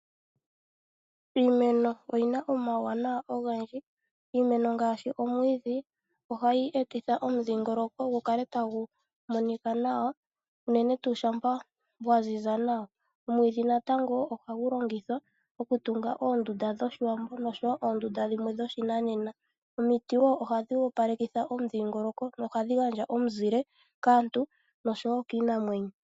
Iimeno oyina omauwanawa ogendji. Iimeno ngaashi omwiidhi ohayi etitha omudhingoloko gu kale tagu monika nawa, unene tuu shampa gwa ziza nawa. Omwiidhi natango ohagu longithwa oku tunga oondunda dhoshiwambo oshowo oondunda dhimwe dhoshinanena. Omiti wo ohadhi opalekitha omudhingoloko nohadhi gandja omuzile kaantu noshowo kiinamwenyo.